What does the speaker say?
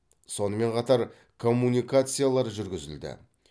сонымен қатар коммуникациялар жүргізілді